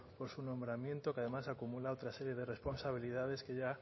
por su nombramiento que además acumula otra serie de responsabilidades que ya